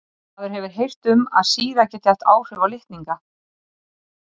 Maður hefur heyrt um að sýra geti haft áhrif á litninga.